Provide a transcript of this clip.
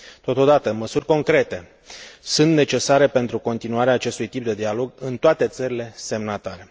Totodată, măsuri concrete sunt necesare pentru continuarea acestui tip de dialog în toate țările semnatare.